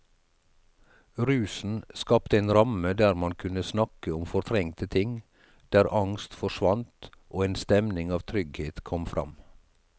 Rusen skapte en ramme der man kunne snakke om fortrengte ting, der angst forsvant og en stemning av trygghet kom fram.